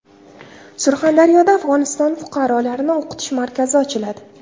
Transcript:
Surxondaryoda Afg‘oniston fuqarolarini o‘qitish markazi ochiladi.